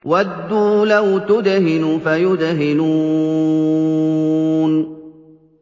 وَدُّوا لَوْ تُدْهِنُ فَيُدْهِنُونَ